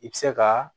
I bɛ se ka